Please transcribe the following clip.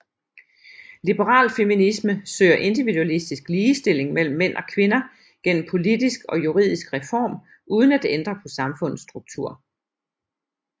Liberal feminisme søger individualistisk ligestilling mellem mænd og kvinder gennem politisk og juridisk reform uden at ændre på samfundets struktur